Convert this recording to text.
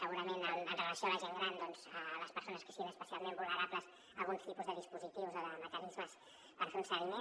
segurament amb relació a la gent gran a les persones que siguin especialment vulnerables a alguns tipus de dispositius o de mecanismes per fer ne un seguiment